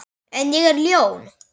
En ég er ljón.